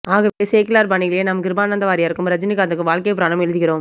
ஆகவே சேக்கிழார் பானியிலேயே நாம் கிருபானனத வாரியாருக்கும் ரஜனிகாந்துக்கும் வாழ்க்கைப்புராணம் எழுதுகிறோம்